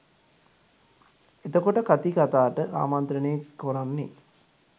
එතකොට කතී කතාට ආමන්ත්‍රණය කොරන්නේ